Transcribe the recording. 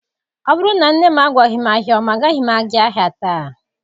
Ọ bụrụ na nne m agwaghị m ahịa ọma agaghị m aga ahịa taa.